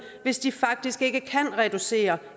hvis de faktisk ikke kan reducere